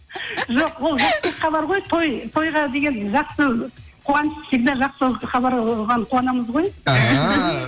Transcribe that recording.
жоқ ол тойға деген жақсы қуаныш всегда жақсы хабар оған қуанамыз ғой іхі